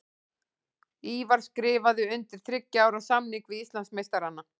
Ívar skrifaði undir þriggja ára samning við Íslandsmeistarana.